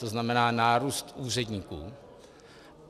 To znamená nárůst úředníků.